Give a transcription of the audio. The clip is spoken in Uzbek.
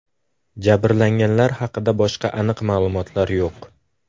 Jabrlanganlar haqida boshqa aniq ma’lumotlar yo‘q.